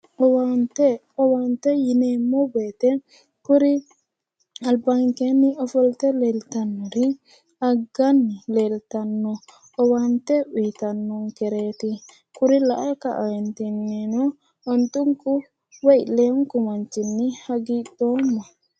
Owaante. Owaante yineemmo woyite kuri albankeenni ofolte leeltannori agganni leeltanno. Owaante uyitannonkereeti. Kuri lae kaeentinnino ontunku woyi leewunku manninni hagiidhoomma.